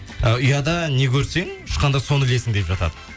ы ұяда не көрсең ұшқанда соны ілесің деп жатады